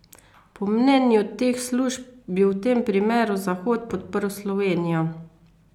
Po mnenju teh služb bi v tem primeru Zahod podprl Slovenijo.